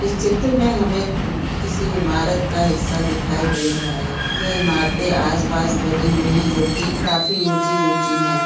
इस चित्र में हमें किसी इमारत का हिस्सा दिखाई दे रहा है ये इमारतें आसपास बनी हुई है जो कि काफी ऊंची-ऊंची है।